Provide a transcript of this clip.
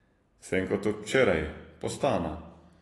Sem kot od včeraj, postana.